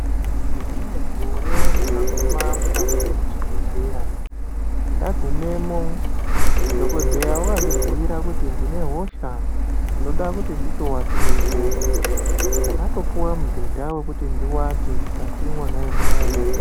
Nerimwe gore ndakaguma mukati muchibhedhleya. Ndagumemo, dhokodheya wakandibuire kuti ndinehosha ndoda kuti nditovatirepo. Ndakatopiwe mbhedha wokuti ndiwate mukati mona imomo.